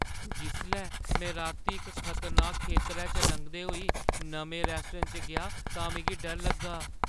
जिसलै में राती इक खतरनाक खेतरै चा लंघदे होई नमें रैस्टोरैंट च गेआ तां मिगी डर लग्गा।